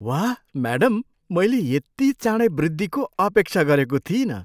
वाह, म्याडम! मैले यति चाँडै वृद्धिको अपेक्षा गरेको थिइनँ!